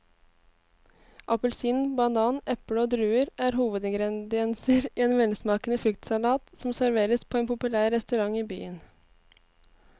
Appelsin, banan, eple og druer er hovedingredienser i en velsmakende fruktsalat som serveres på en populær restaurant i byen.